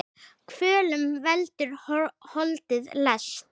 Kvölum veldur holdið lest.